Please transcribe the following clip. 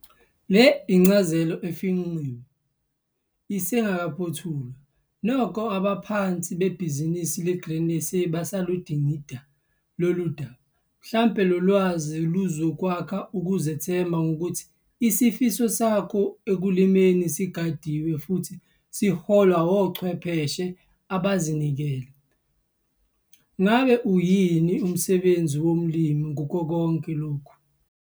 Le incazelo efinqiwe, kodwa isengakaphothulwa, nokho abaphathi bebhizinisi leGrain SA basaludingida lolu daba. Mhlambe lo lwazi luzokwakha ukuzithemba ngokuthi isifiso sakho ekulimni sigadiwe futhi siholwa ochwepheshe abazinikele. Ngabe uyini umsebenzi womlimi kukho konke lokhu?